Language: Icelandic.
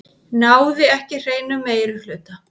Náði ekki hreinum meirihluta